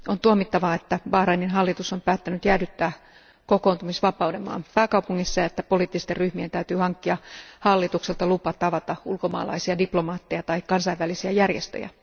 On tuomittavaa, että Bahrainin hallitus on päättänyt jäädyttää kokoontumisvapauden maan pääkaupungissa ja että poliittisten ryhmien täytyy hankkia hallitukselta lupa tavata ulkomaalaisia diplomaatteja tai kansainvälisiä järjestöjä.